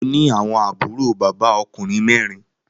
Mo ni awọn àbúrò bàbá okùnrin mẹrin.